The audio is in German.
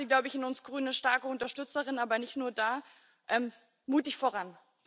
Da haben Sie, glaube ich, in uns Grünen eine starke Unterstützerin, aber nicht nur da. Mutig voran!